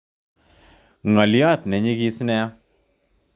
Ngolyot nenyigis nia.